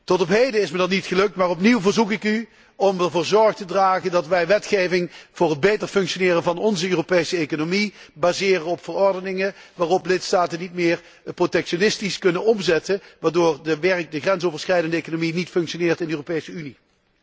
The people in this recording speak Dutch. Tot op heden is me dat niet gelukt, maar opnieuw verzoek ik u ervoor zorg te dragen dat wij wetgeving voor het beter functioneren van onze Europese economie baseren op verordeningen, die lidstaten niet meer protectionistisch kunnen omzetten, waardoor de grensoverschrijdende economie niet functioneert in de Europese Unie.